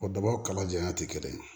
O dabaw kala janya tɛ kelen ye